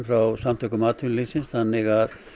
frá Samtökum atvinnulífsins þannig